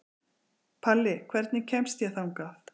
Palli, hvernig kemst ég þangað?